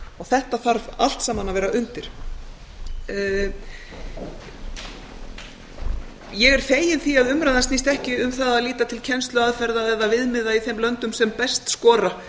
þetta þarf allt saman að vera undir ég er fengin því að umræðan snýst ekki um það að líta til kennsluaðferða eða viðmiða í þeim löndum sem best skora